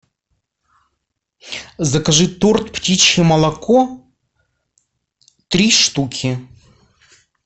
закажи торт птичье молоко три штуки